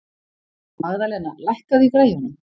Magðalena, lækkaðu í græjunum.